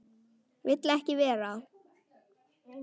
Vill ekki vera.